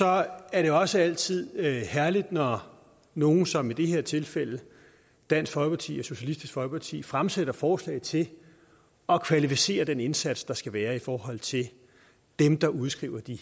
er det også altid herligt når nogle som i det her tilfælde dansk folkeparti og socialistisk folkeparti fremsætter forslag til at kvalificere den indsats der skal være i forhold til dem der udskriver de